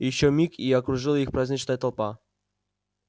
ещё миг и окружила их праздничная толпа